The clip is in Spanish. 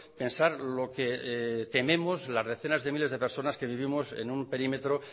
pensar lo que tenemos las decenas de miles de personas que vivimos en un perímetro